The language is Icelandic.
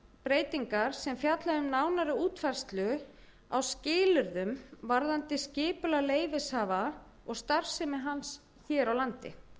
breytingar sem fjalla um nánari útfærslu á skilyrðum varðandi skipulag leyfishafa og starfsemi hans hér á landi